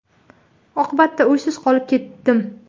Oqibatda uysiz qolib ketdim.